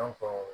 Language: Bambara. An faw